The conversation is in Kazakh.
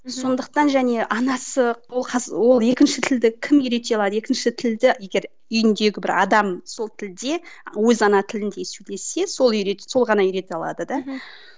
сондықтан және анасы ол ол екінші тілді кім үйрете алады екінші тілді егер үйіндегі бір адам сол тілде өз ана тілінде сөйлесе сол үйретеді сол ғана үйрете алады да мхм